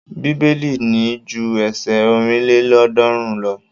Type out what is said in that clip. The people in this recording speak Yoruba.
Bíbélì ní ju ẹsẹ ọ̀rìnlélọ́ọ̀ọ́dúnrún lọ.